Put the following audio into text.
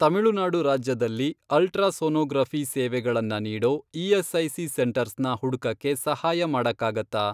ತಮಿಳುನಾಡು ರಾಜ್ಯದಲ್ಲಿ ಅಲ್ಟ್ರಾಸೋನೋಗ್ರಫಿ಼ ಸೇವೆಗಳನ್ನ ನೀಡೋ ಇ.ಎಸ್.ಐ.ಸಿ. ಸೆಂಟರ್ಸ್ನ ಹುಡ್ಕಕ್ಕೆ ಸಹಾಯ ಮಾಡಕ್ಕಾಗತ್ತಾ?